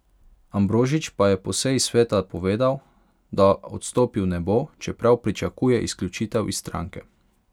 Ambrožič pa je po seji sveta povedal, da odstopil ne bo, čeprav pričakuje izključitev iz stranke.